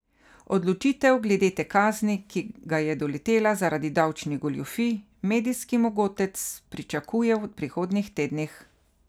Odločitev glede te kazni, ki ga je doletela zaradi davčnih goljufij, medijski mogotec pričakuje v prihodnjih tednih.